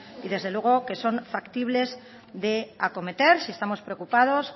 y desde luego que son factible de acometer si estamos preocupados